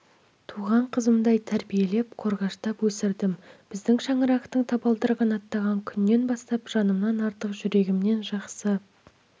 туған қызымдай тәрбиелеп қорғаштап өсірдім біздің шаңырақтың табалдырығын аттаған күннен бастап жанымнан артық жүрегіммен жақсы